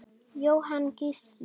Jóhann Gísli.